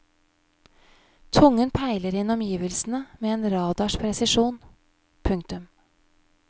Tungen peiler inn omgivelsene med en radars presisjon. punktum